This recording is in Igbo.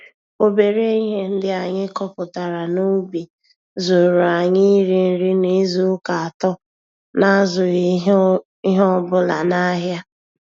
Obere ihe ndị anyị kọpụtara n'ubi zuuru anyị iri nri n'izu ụka atọ n'azụghị ihe ọbụla nahịa